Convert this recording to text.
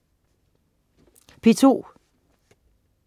P2: